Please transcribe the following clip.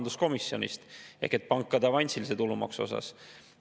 Kui sul on kaks sellist keskmise või üle keskmise palga saajat, siis sa saad seda oluliselt rohkem kasutada.